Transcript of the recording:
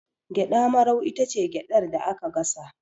Gyaɗa marau itace gyaɗar da aka gasa